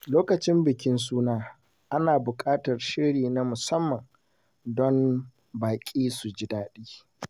Lokacin bikin suna, ana buƙatar shiri na musamman don baƙi su ji daɗi.